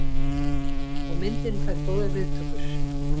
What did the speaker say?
Og myndin fær góðar viðtökur.